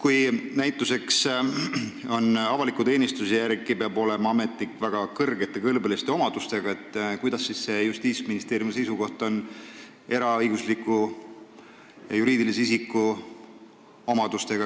Kui näituseks avaliku teenistuse seaduse järgi peab ametnik olema väga kõlbeliste omadustega, siis milline on Justiitsministeeriumi seisukoht eraõigusliku juriidilise isiku omaduste suhtes?